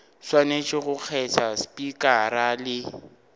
swanetše go kgetha spikara le